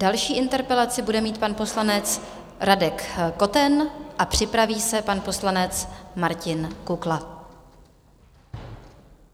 Další interpelaci bude mít pan poslanec Radek Koten a připraví se pan poslanec Martin Kukla.